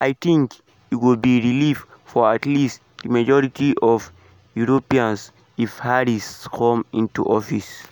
“i tink e go be relief for at least di majority of europeans if harris come into office” e tok.